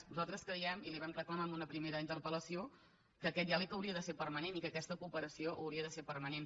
nosaltres creiem i li ho vam reclamar en una primera interpel·lació que aquest diàleg hauria de ser permanent i que aquesta cooperació hauria de ser permanent